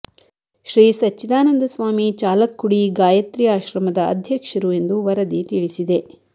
ಶ್ರೀ ಸಚ್ಚಿದಾನಂದ ಸ್ವಾಮಿ ಚಾಲಕ್ಕುಡಿ ಗಾಯತ್ರಿ ಆಶ್ರಮದ ಅಧ್ಯಕ್ಷರು ಎಂದು ವರದಿ ತಿಳಿಸಿದೆ